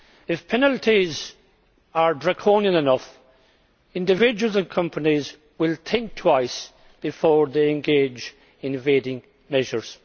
If penalties are draconian enough, individuals and companies will think twice before they engage in tax evasion measures.